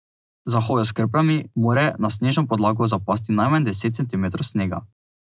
Za hojo s krpljami mora na snežno podlago zapasti najmanj deset centimetrov snega.